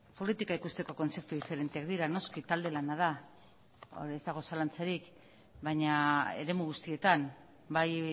politika ikusteko kontzeptu diferenteak dira noski talde lana da hor ez dago zalantzarik baina eremu guztietan bai